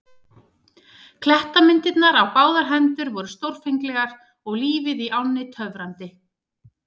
Klettamyndanir á báðar hendur voru stórfenglegar og lífið í ánni töfrandi.